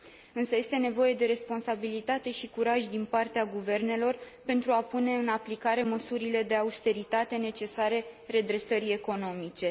Însă este nevoie de responsabilitate și curaj din partea guvernelor pentru a pune în aplicare măsurile de austeritate necesare redresării economice.